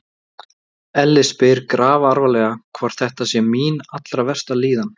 Elli spyr grafalvarlegur, hvort þetta sé mín allra versta líðan?